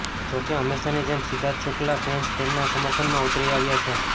જો કે હંમેશાની જેમ સિદ્ધાર્થ શુક્લાના ફેન્સ તેમના સમર્થનમાં ઉતરી આવ્યા છે